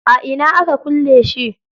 A ina aka kulle shi?